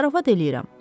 Zarafat eləyirəm.